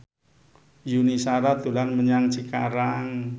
Yuni Shara dolan menyang Cikarang